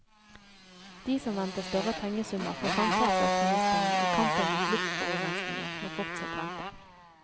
De som venter større pengesummer fra samferdselsministeren i kampen mot luftforurensningen, må fortsatt vente.